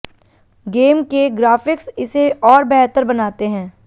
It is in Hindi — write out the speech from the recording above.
गेम के ग्राफिक्स इसे और बेहतर बनाते हैं